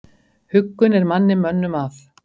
Huggun er manni mönnum að.